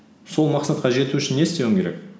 сол мақсатқа жету үшін не істеуің керек